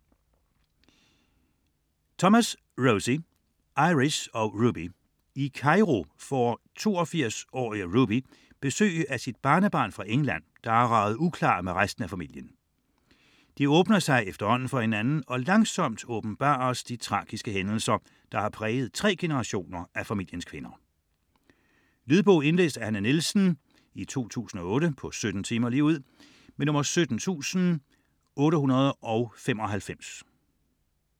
Thomas, Rosie: Iris og Ruby I Cairo får 82-årige Ruby besøg af sit barnebarn fra England, som er raget uklar med resten af familien. De åbner sig efterhånden for hinanden, og langsomt åbenbares de tragiske hændelser, som har præget tre generationer af familiens kvinder. Lydbog 17895 Indlæst af Hanne Nielsen, 2008. Spilletid: 17 timer, 0 minutter.